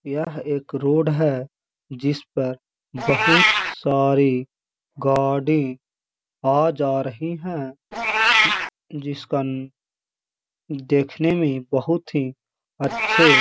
यह एक रोड है जिस पर बोहोत सारी गाड़ी आ जा रही हैं उह जिसकन देखने में बोहोत ही अच्छे --